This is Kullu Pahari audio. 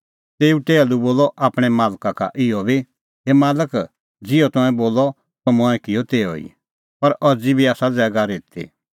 तेऊ टैहलू बोलअ आपणैं मालका का भी इहअ हे मालक ज़िहअ तंऐं बोलअ त मंऐं किअ तिहअ ई पर अज़ी बी आसा ज़ैगा रित्ती